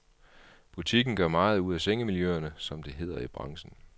Butikken gør meget ud af sengemiljøerne, som det hedder i branchen.